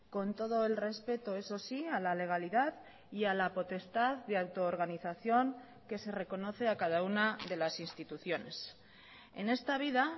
con todo el respeto eso sí a la legalidad y a la potestad de autoorganización que se reconoce a cada una de las instituciones en esta vida